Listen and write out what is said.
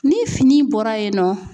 Ni fini bɔra yen nɔ